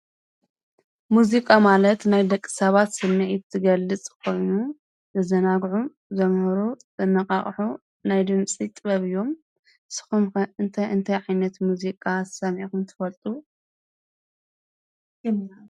ሙዚቃ ማለት ናይ ደቂ ሰባት ስሚዒት ዝገልጽ ኮይኑ ዘዛንግዑ፣ ዘምህሩ፣ ዘነቃቅሑ ናይ ድምጺ ጥበብ አዮም። ንስኹም ኸ እንታይ እንታይ ዓይነት ሙዚቃ ሰሚዕኽም ትፈልጡ?